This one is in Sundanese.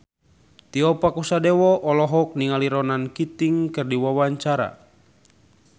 Tio Pakusadewo olohok ningali Ronan Keating keur diwawancara